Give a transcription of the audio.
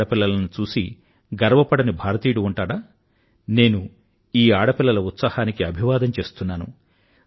ఈ ఆడపిల్లలను చూసి గర్వపడని భారతీయుడు ఉంటాడా నేను ఈ ఆడపిల్లల ఉత్సాహానికి అభివాదం చేస్తున్నాను